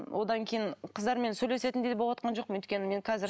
одан кейін қыздармен сөйлесетіндей де болыватқан жоқпын өйткені мен қазір